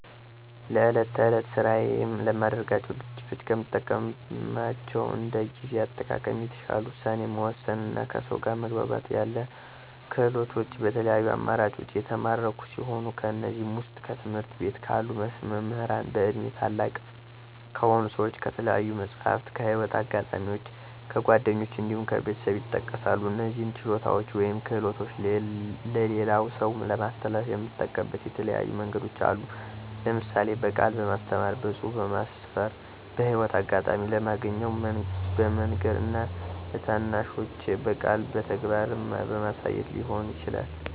ለዕለት ተዕለት ስራዬ ለማደርጋቸው ድርጊቶች ከምጠቀማቸው እንደ ጊዜ አጠቃቀም፣ የተሻለ ውሳኔ መወሰን እና ከሰው ጋር መግባባት ያሉ ክህሎቶችን በተለያዩ አማራጮች የተማርኩ ሲሆን ከእነዚህም ዉስጥ፦ ከትምህርት ቤት ካሉ መምህራን፣ በእድሜ ታላላቅ ከሆኑ ሰዎች፣ ከተለያዩ መፅሀፍት፣ ከህይወት አጋጣሚዎች፣ ከጓደኞች እንዲሁም ከቤተሰብ ይጠቀሳሉ። እነዚህን ችሎታዎች ወይም ክህሎቶች ለሌላ ሰው ለማስተላለፍ የምጠቀምበት የተለያዩ መንገዶች አሉ። ለምሳሌ፦ በቃል በማስተማር፣ በፅሁፍ በማስፈር፣ በህይወት አጋጣሚ ለማገኘው በመንገር እና ለታናናሾቼ በቃልም በተግባርም በማሳየት ሊሆን ይችላል።